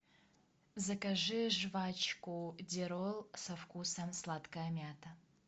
закажи жвачку дирол со вкусом сладкая мята